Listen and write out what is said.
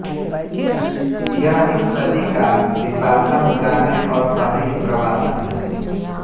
यह इस सदी का विशालतम ग्रामीण और शहरी प्रवासन है